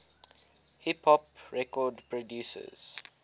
hip hop record producers